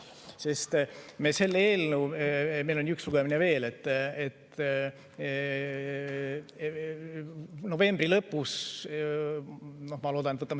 Ma loodan, et me selle eelnõu – meil on üks lugemine veel – loodetavasti novembri lõpus võtame vastu.